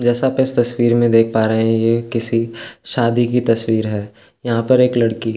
जैसा आप इस तस्वीर में देख पा रहे हैं की शादी की तस्वीर है यहाँ पर एक लड़की --